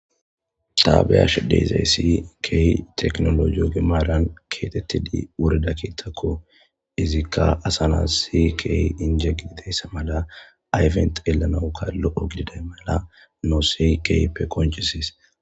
Ta be'ashe de'iyayssi keehi tekinoloje oge maaran keexetidi wurida keettako. Izikka asa na'as keehi injje gididayssa mala ayfen xeellanawukka lo'o gididayssa mala nuus keehippe qonccises.